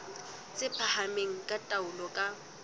tse phahameng tsa taolo ka